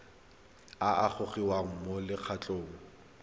a a gogiwang mo lokgethong